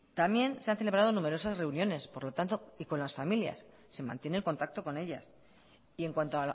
también se han celebrado numerosas reuniones por lo tanto y con las familias se mantiene el contacto con ellas y en cuanto